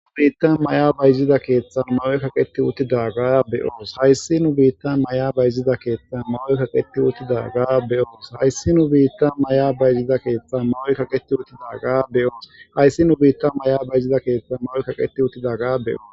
Hayssi nu biittan maya bayzida keththan mayoy kaqqeti uttidagga be'os hayssi nu biittan maya bayzida keththan mayoy kaqqeti uttidagga be'os hayssi nu biittan maya bayzida keththan mayoy kaqqeti uttidagga be'os hayssi nu biittan maya bayzida keththan mayoy kaqqeti uttidagga be'os.